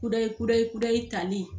Kudayi kudayi kudayi tali